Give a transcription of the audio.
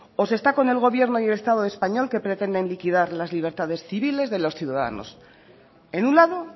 o se está con el gobierno y el estado español que pretenden liquidar las libertades civiles de los ciudadanos en un lado